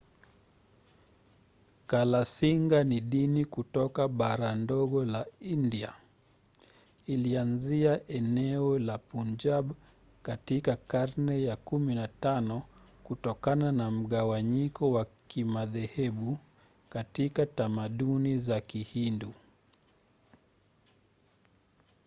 kalasinga ni dini kutoka bara ndogo la india. ilianzia eneo la punjab katika karne ya 15 kutokana na mgawanyiko wa kimadhehebu katika tamaduni za kihindu